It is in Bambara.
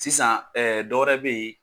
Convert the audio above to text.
Sisan dɔwɛrɛ bɛyi.